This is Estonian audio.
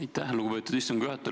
Aitäh, lugupeetud istungi juhataja!